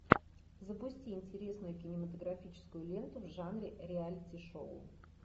запусти интересную кинематографическую ленту в жанре реалити шоу